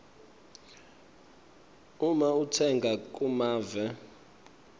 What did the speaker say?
uma utsenga kumave